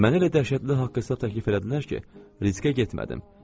Mənə elə dəhşətli haqq hesab təklif elədilər ki, riskə getmədim.